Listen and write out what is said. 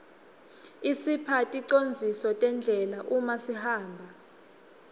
isipha ticondziso tendlela uma sihamba